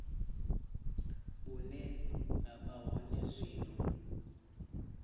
vhune ha vha hone zwino